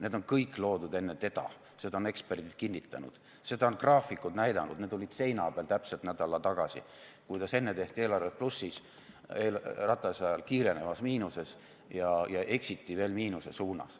Need on kõik loodud enne teda, seda on eksperdid kinnitanud, seda on graafikud näidanud, need olid seina peal täpselt nädal tagasi, kuidas enne tehti eelarvet plussis, Ratase ajal kiirenevas miinuses ja eksiti veel miinuse suunas.